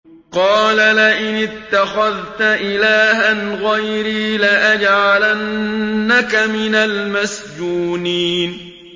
قَالَ لَئِنِ اتَّخَذْتَ إِلَٰهًا غَيْرِي لَأَجْعَلَنَّكَ مِنَ الْمَسْجُونِينَ